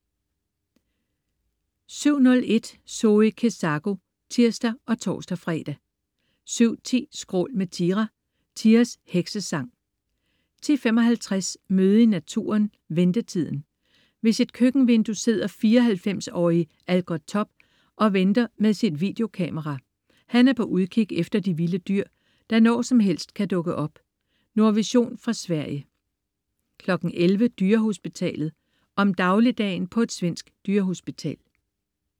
07.01 Zoe Kezako (tirs og tors-fre) 07.10 Skrål med Tira. Tiras heksesang 10.55 Møde i naturen: Ventetiden. Ved sit køkkenvindue sidder 94-årige Algoth Topp og venter med sit videokamera. Han er på udkig efter de vilde dyr, der når som helst kan dukke op. Nordvision fra Sverige 11.00 Dyrehospitalet. Om dagligdagen på et svensk dyrehospital